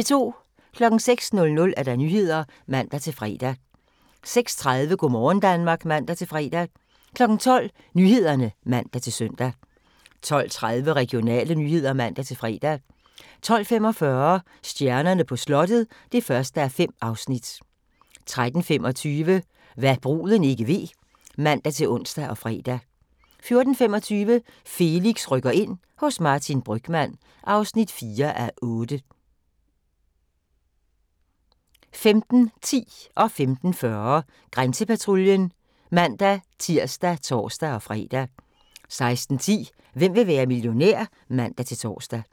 06:00: Nyhederne (man-fre) 06:30: Go' morgen Danmark (man-fre) 12:00: Nyhederne (man-søn) 12:30: Regionale nyheder (man-fre) 12:45: Stjernerne på slottet (1:5) 13:35: Hva' bruden ikke ved (man-ons og fre) 14:25: Felix rykker ind – hos Martin Brygmann (4:8) 15:10: Grænsepatruljen (man-tir og tor-fre) 15:40: Grænsepatruljen (man-tir og tor-fre) 16:10: Hvem vil være millionær? (man-tor)